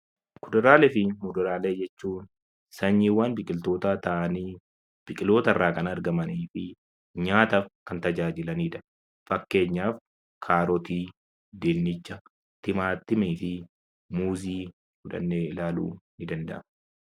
Kuduraalee fi muduraalee jechuun sanyiiwwan biqiltootaa ta'anii biqiloota irraa kan argamanii fi nyaataaf kan tajaajilanidha. Fakkeenyaaf kaarotii, dinnicha, timaatimii fi muuzii fudhannee ilaaluun ni danda'ama.